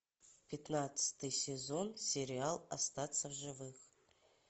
пятнадцатый сезон сериал остаться в живых